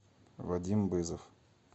вадим бызов